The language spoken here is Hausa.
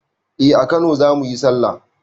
Eh a kano zamuyi sallah